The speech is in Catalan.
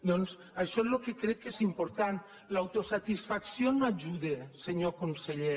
doncs això és el que crec que és important l’autosatisfacció no ajuda senyor conseller